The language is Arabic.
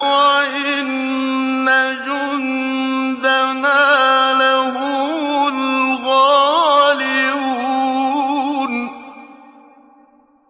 وَإِنَّ جُندَنَا لَهُمُ الْغَالِبُونَ